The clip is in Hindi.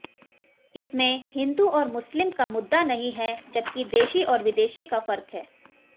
इसमे हिंदू ओर मुस्लिम का मुद्दा नहीं है जबकि देशी ओर विदेशी का फर्क है